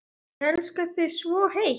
Ég elska þig svo heitt.